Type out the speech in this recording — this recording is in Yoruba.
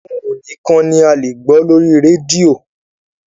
Ohùn nìkan ni a lè gbọ́ lórí rédíò.